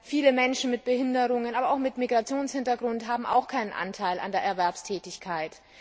Viele Menschen mit Behinderungen aber auch mit Migrationshintergrund haben ebenfalls keinen Anteil an der Erwerbstätigkeit.